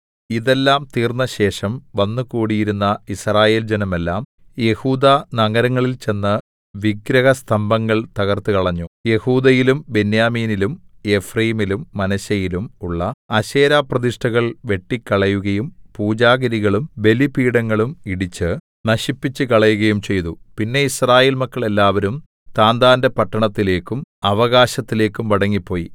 ഇതെല്ലാം തീർന്നശേഷം വന്നുകൂടിയിരുന്ന യിസ്രായേൽ ജനമെല്ലാം യെഹൂദാ നഗരങ്ങളിൽ ചെന്ന് വിഗ്രഹസ്തംഭങ്ങൾ തകർത്തുകളഞ്ഞു യെഹൂദയിലും ബെന്യാമീനിലും എഫ്രയീമിലും മനശ്ശെയിലും ഉള്ള അശേരാപ്രതിഷ്ഠകൾ വെട്ടിക്കളയുകയും പുജാഗിരികളും ബലിപീഠങ്ങളും ഇടിച്ച് നശിപ്പിച്ചുകളയുകയും ചെയ്തു പിന്നെ യിസ്രായേൽ മക്കൾ എല്ലാവരും താന്താന്റെ പട്ടണത്തിലേക്കും അവകാശത്തിലേക്കും മടങ്ങിപ്പോയി